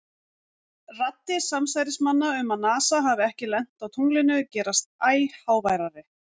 Raddir samsærismanna um að NASA hafi ekki lent á tunglinu gerast æ háværari.